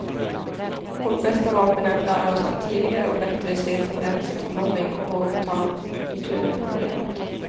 Vårt bästa vapen är att lära oss att tidigare och bättre se tendenser till mobbning och att våga ta itu med problemet.